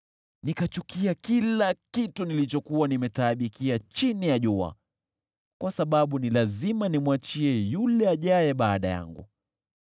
Nikachukia kila kitu nilichokuwa nimetaabikia chini ya jua, kwa sababu ni lazima nimwachie yule ajaye baada yangu.